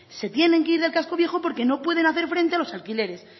se tiene que ir del casco viejo porque no pueden hacer frente a los alquileres